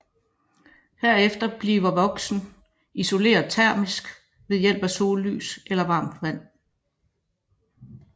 Herefter bliver voksen isoleret termisk ved hjælp af sollys eller varmt vand